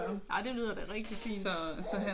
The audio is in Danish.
Ah det lyder da rigtig fint